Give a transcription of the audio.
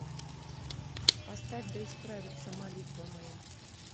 поставь да исправиться молитва моя